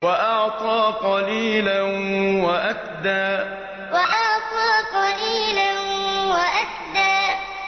وَأَعْطَىٰ قَلِيلًا وَأَكْدَىٰ وَأَعْطَىٰ قَلِيلًا وَأَكْدَىٰ